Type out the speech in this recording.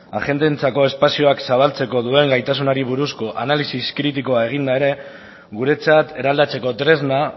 agenteentzako espazioak zabaltzeko duen gaitasunari buruzko analisi kritiko eginda ere guretzat eraldatzeko tresna